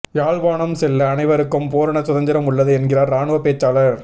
யாழ்ப்பாணம் செல்ல அனைவருக்கும் பூரண சுதந்திரம் உள்ளது என்கிறார் இராணுவப் பேச்சாளர்